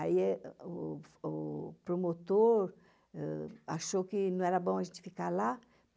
Aí o promotor achou que não era bom a gente ficar lá.